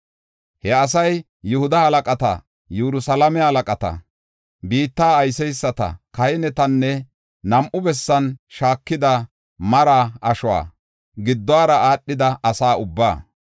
He asay Yihuda halaqata, Yerusalaame halaqata, biitta ayseysata, kahinetanne nam7u bessan shaakida maraa ashuwa giddora aadhida asa ubbaa.